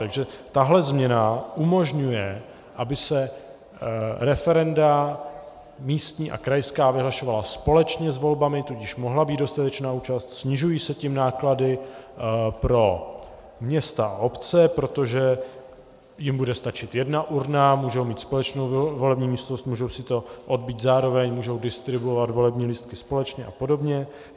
Takže tahle změna umožňuje, aby se referenda místní a krajská vyhlašovala společně s volbami, tudíž mohla být dostatečná účast, snižují se tím náklady pro města a obce, protože jim bude stačit jedna urna, můžou mít společnou volební místnost, můžou si to odbýt zároveň, můžou distribuovat volební lístky společně a podobně.